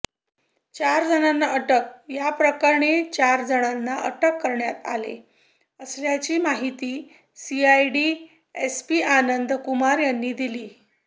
चारजणांना अटक याप्रकरणी चारजणांना अटक करण्यात आले असल्याची माहिती सीआयडी एसपी आनंद कुमार यांनी दिली